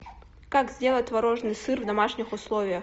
как сделать творожный сыр в домашних условиях